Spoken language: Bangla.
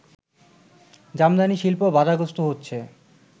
জামদানি শিল্প বাধাগ্রস্ত হচ্ছে